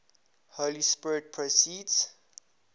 holy spirit proceeds